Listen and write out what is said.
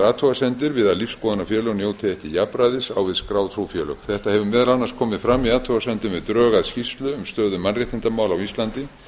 athugasemdir við að lífsskoðunarfélög njóti ekki jafnræðis á við skráð trúfélög þetta hefur meðal annars komið fram í athugasemdum við drög að skýrslu um stöðu mannréttindamála á íslandi